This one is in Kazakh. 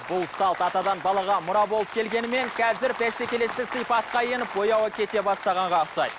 бұл салт атадан балаға мұра болып келгенімен қазір бәсекелестік сипатқа еніп бояуы кете бастағанға ұқсайды